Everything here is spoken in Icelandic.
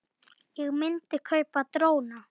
Ég myndi kaupa dróna.